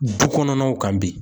Dukɔnɔnaw kan bi.